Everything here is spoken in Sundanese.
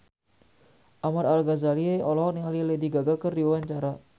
Ahmad Al-Ghazali olohok ningali Lady Gaga keur diwawancara